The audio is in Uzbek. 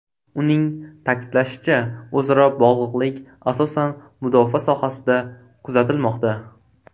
Uning ta’kidlashicha, o‘zaro bog‘liqlik asosan mudofaa sohasida kuzatilmoqda.